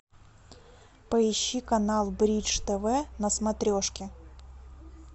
поищи канал бридж тв на смотрешке